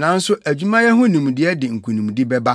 nanso adwumayɛ ho nimdeɛ de nkonimdi bɛba.